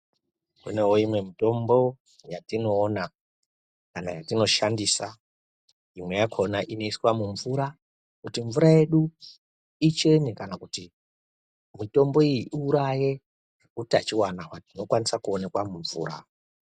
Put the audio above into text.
Kunewo imweni mitombo yatinoona kana kuti yatinoshandisa imweni yakona inoiswa mumvura kuti mvura yedu ichene kana kuti mutombo wedu uwuraye hutachiona hunokwanisa kuonekwa mumvura.